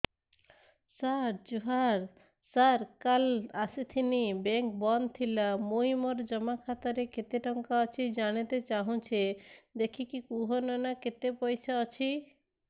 ସାର ଜୁହାର ସାର କାଲ ଆସିଥିନି ବେଙ୍କ ବନ୍ଦ ଥିଲା ମୁଇଁ ମୋର ଜମା ଖାତାରେ କେତେ ଟଙ୍କା ଅଛି ଜାଣତେ ଚାହୁଁଛେ ଦେଖିକି କହୁନ ନା କେତ ପଇସା ଅଛି